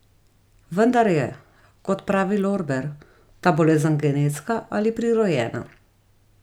Vendar je, kot pravi Lorber, ta bolezen genetska ali prirojena.